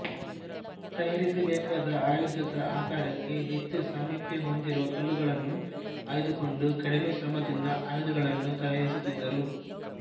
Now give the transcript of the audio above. ತಯಾರಿಸಬೇಕಾದ ಆಯುಧದ ಆಕಾರಕ್ಕೆ ಹೆಚ್ಚು ಸಾಮೀಪ್ಯ ಹೊಂದಿರುವ ಕಲ್ಲುಗಳನ್ನು ಆಯ್ದುಕೊಂಡು ಕಡಿಮೆ ಶ್ರಮದಿಂದ ಆಯುಧಗಳನ್ನು ತಯಾರಿಸುತ್ತಿದ್ದರು